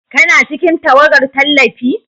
Kana cikin tawagar tallafi?